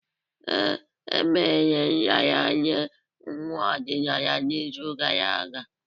Ee, emere nraranye nwa ọdịnala n'izu gara aga.